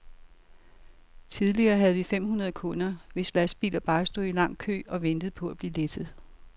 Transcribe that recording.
Tidligere havde vi fem hundrede kunder, hvis lastbiler bare stod i en lang kø og ventede på at blive læsset.